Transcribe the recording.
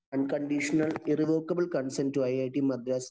unconditional irrevocable consent to it Madras